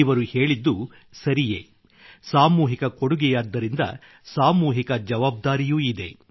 ಇವರು ಹೇಳಿದ್ದು ಸರಿಯೇ ಸಾಮೂಹಿಕ ಕೊಡುಗೆಯಾದ್ದರಿಂದ ಸಾಮೂಹಿಕ ಜವಾಬ್ದಾರಿಯೂ ಇದೆ